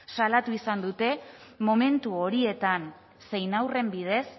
salatu izan dute momentu horietan zein haurren bidez